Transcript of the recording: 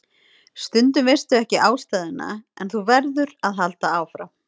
Stundum veistu ekki ástæðuna en þú verður að halda áfram.